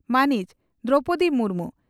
ᱢᱟᱹᱱᱤᱡ ᱫᱨᱚᱣᱯᱚᱫᱤ ᱢᱩᱨᱢᱩ